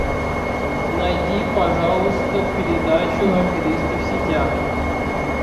найди пожалуйста передачу аферисты в сетях